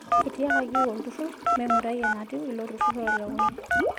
Etiakaki oltururr meingurai enatiu ilo tururr otelekunye.